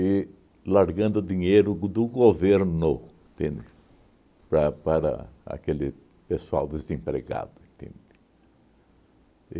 largando dinheiro do governo, entende? Para para aquele pessoal desempregado, entende?